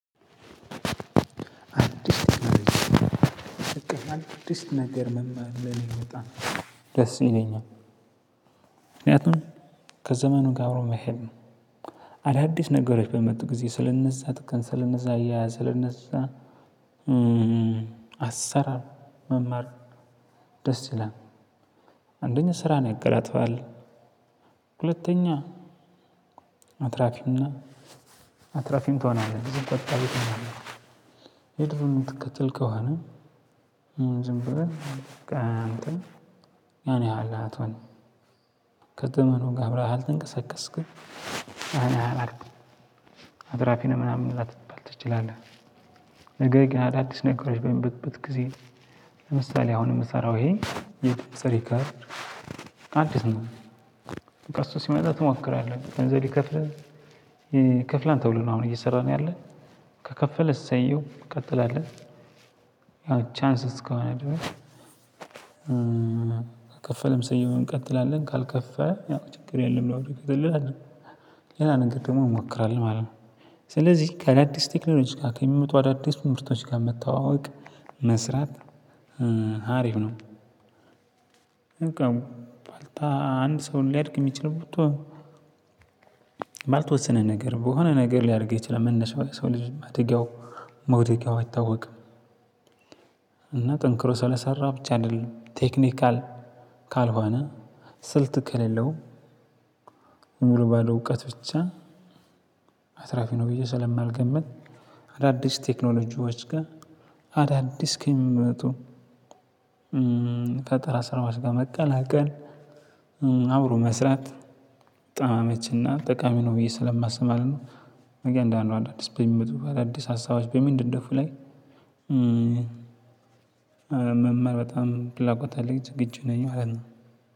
አዲስ ነገር መማር ለ እኔ በጣም ደስ ይለኛል። ምክንያቱም ከዘመኑ ጋር አብሮ መሄድ ነው። አዳዲስ ነገሮች በሚመጡ ጊዜ ስለእነዛ አሰራር መማር ደስ ይላል። አንደኛ ስራን ያቀላጥፋል። ሁለተኛ አትራፊም እና አትራፊም ትሆናለህ ጊዜ ቆጣቢ ትሆናለህ። የምትከትል ከሆነ ዝም ብለህ በቃ አንተ ያን ያህል አትሆንም። ከዘመኑ ጋር አብረህ አልተንቀሳቀስክም ያን ያህል አትራፊ ነህ ምናምን ላትባል ትችላለህ። ነገር ግን አዳዲስ ነገሮች በሚመጡበት ጊዜ ለምሳሌ አሁን የምሰራው ይሄ የድምጽ ሪከርድ አዲስ ነው። በቃ እሱ ሲመጣ ትሞክራለህ ገንዘብ ይከፍላል። ይከፍላል ተብሎ ነው አሁን እየሰራን ያለን ከከፈለ እሰየው እንቀጥላለን። ያው ቻንስ እስከሆነ ድረስ ከከፈለም ሰውየውን እንቀጥላለን ካልከፈል ያው ችግር የለም ለምን እንቀጥል? ሌላ ነገር ደግሞ እንሞክራለን ማለት ነው። ስለዚህ ከዳዲስ ቴክኖሎጂ ጋር ከሚመጡ አዳዲስ ምርቶች ጋር መተዋወቅ መስራት ሀሪፍ ነው። አንድ ሰው ሊያድግ የሚችለው ባልተወሰነ ነገር ነው በሆነ ነገር ሊያደርገው ይችላል መነሻው የሰው ልጅ ማደጊያው መውደቂያው አይታወቅም። እና ጠንክሮ ስለሰራ ብቻ አይደልም ቴክኒካል ካልሆነ ስልት ከሌለው ሙሉ ባለው እውቀት ብቻ አትራፊ ነው ብዬ ስለማልገምት። አዳዲስ ቴክኖሎጂዎች ጋር አዳዲስ ከሚመጡ ፈጠራ ስራዎች ጋር መቀላቀል አብሮ መስራት በጣም አመቺ እና ጠቃሚ ነው ብዬ ስለማስብ ማለት ነው። እያንዳንዱ አዳዲስ በሚመጡ አዳዲስ ሀሳቦች በሚነደፉ ላይ መማር በጣም ፍላጎት አለኝ ዝግጁ ነኝ ማለት ነው።